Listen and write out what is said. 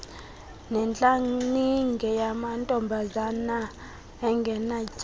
netlaninge yamantombazana angenatyala